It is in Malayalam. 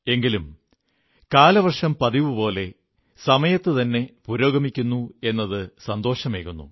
എങ്കിലും കാലവർഷം പതിവുപോലെ സമയത്തുതന്നെ മുന്നേറുകയാണെന്നത് സന്തോഷമേകുന്നു